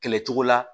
Kɛlɛ cogo la